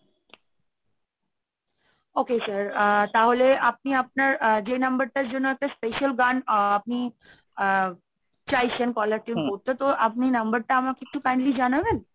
Okay sir তাহলে আপনি আপনার আহ যে number টার জন্য একটা special গান আ আপনি আ চাইছেন caller tune করতে, তো আপনি number টা আমাকে একটু kindly জানাবেন?